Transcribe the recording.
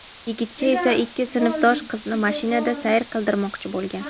Yigitcha esa ikki sinfdosh qizini mashinada sayr qildirmoqchi bo‘lgan.